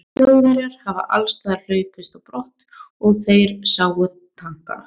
Þjóðverjar hafi allsstaðar hlaupist á brott, er þeir sáu tankana.